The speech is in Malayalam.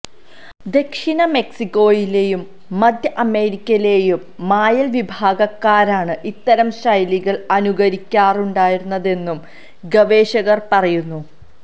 ദക്ഷിണ മെക്സിക്കോയിലെയും മധ്യ അമേരിക്കയിലെയും മായൻ വിഭാഗക്കാരാണ് ഇത്തരം ശൈലികൾ അനുകരിക്കാറുണ്ടായിരുന്നതെന്നും ഗവേഷകർ പറയുന്നു